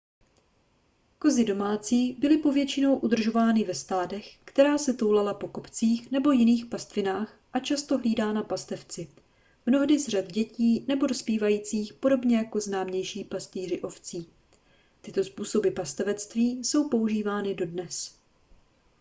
kozy domácí byly povětšinou udržovány ve stádech která se toulala po kopcích nebo jiných pastvinách a často hlídaná pastevci mnohdy z řad dětí nebo dospívajících podobně jako známější pastýři ovcí tyto způsoby pastevectví jsou používány dodnes